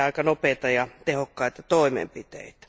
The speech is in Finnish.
nopeita ja tehokkaita toimenpiteitä.